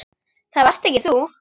Það varst ekki þú.